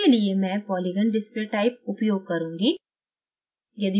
इसके लिए मैं polygon display type उपयोग करुँगी